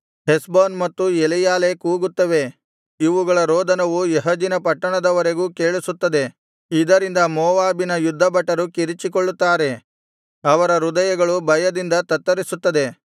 ಹೆಷ್ಬೋನ್ ಮತ್ತು ಎಲೆಯಾಲೆ ಕೂಗುತ್ತವೆ ಇವುಗಳ ರೋದನವು ಯಹಜಿನ ಪಟ್ಟಣದವರೆಗೂ ಕೇಳಿಸುತ್ತದೆ ಇದರಿಂದ ಮೋವಾಬಿನ ಯುದ್ಧಭಟರು ಕಿರಿಚಿಕೊಳ್ಳುತ್ತಾರೆ ಅವರ ಹೃದಯಗಳು ಭಯದಿಂದ ತತ್ತರಿಸುತ್ತದೆ